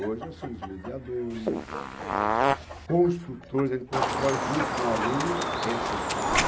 Hoje nós somos mediadores, construtores, a gente constrói junto com o aluno essa educação.